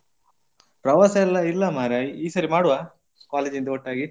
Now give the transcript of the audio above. ಪ್ರವಾಸ ಎಲ್ಲ ಇಲ್ಲ ಮಾರ್ರೆ ಈ ಸಲ ಮಾಡುವ college ಇಂದ ಒಟ್ಟಾಗಿ.